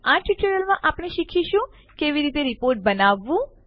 આ ટ્યુટોરીયલમાં આપણે શીખીશું કે કેવી રીતે રીપોર્ટ બનાવવું